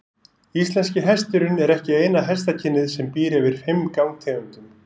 Íslenski hesturinn er ekki eina hestakynið sem býr yfir fimm gangtegundum.